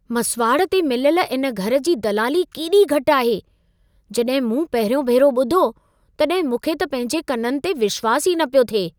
मसिवाड़ ते मिलियल इन घर जी दलाली केॾी घटि आहे। जॾहिं मूं पहिरियों भेरो ॿुधो, तॾहिं मूंखे त पंहिंजे कननि ते विश्वास ई न पियो थिए।